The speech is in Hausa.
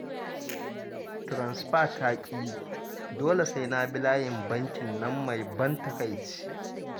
Tiransifa ta ƙi yi, dole sai na bi layin bankin nan mai ban takaici